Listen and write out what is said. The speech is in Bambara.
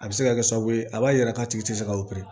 A bɛ se ka kɛ sababu ye a b'a jira k'a tigi tɛ se ka